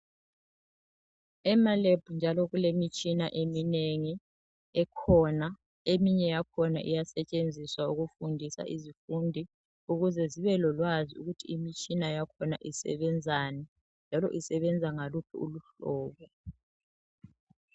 Ema lab njalo kulemitshina eminengi ekhona eminye yakhona iyasetshenziswa ukufundisa izifundi ukuze zibelolwazi ukuthi imitshona yakhona isebenzani njalo isebenza ngaluphi uluhlobo